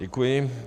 Děkuji.